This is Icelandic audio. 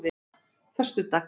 föstudags